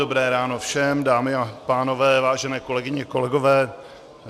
Dobré ráno všem, dámy a pánové, vážené kolegyně, kolegové.